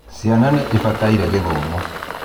ciana nĩ ibataire gĩthomo